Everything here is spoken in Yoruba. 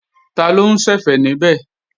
Taló ń ṣẹ̀fẹ̀ níbẹ̀?